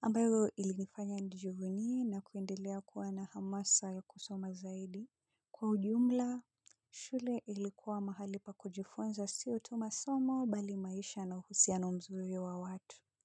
ambayo ilifanya nijivunie na kuendelea kuwa na hamasa ya kusoma zaidi. Kwa ujumla shule ilikuwa mahali pa kujifunza si otuma somo bali maisha na uhusiano mzuri wa watu.